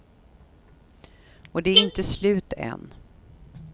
Och det är inte slut än.